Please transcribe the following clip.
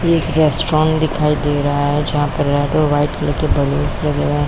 एक रेस्ट्रॉन्ट दिखाई दे रहा है जहाँ पर येलो वाइट कलर के बैलून लगे हुए हैं।